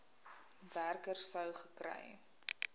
werker sou gekry